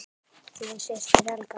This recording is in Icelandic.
Þín systir, Helga.